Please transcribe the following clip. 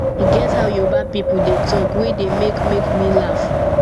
e get how yoruba people dey talk wey dey make make me laugh